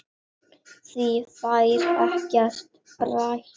Því fær ekkert breytt.